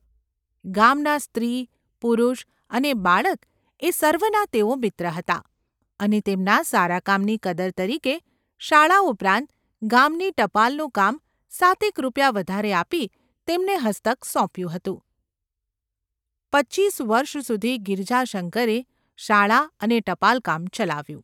ગામનાં સ્ત્રી, પુરુષ અને બાળક એ સર્વનાં તેઓ મિત્ર હતા અને તેમના સારા કામની કદર તરીકે શાળા ઉપરાંત ગામની ટપાલનું કામ સાતેક રૂપિયા વધારે આપી તેમને હસ્તક સોંપ્યું હતું, પચીસ વર્ષ સુધી ગિરજાશંકર શાળા અને ટપાલકામ ચલાવ્યું.